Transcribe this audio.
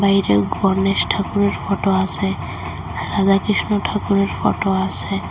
বাইরে গণেশ ঠাকুরের ফটো আসে আর রাধা কৃষ্ণ ঠাকুরের ফটো আসে।